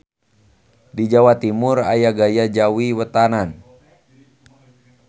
Di Jawa Timur aya gaya Jawi Wetanan.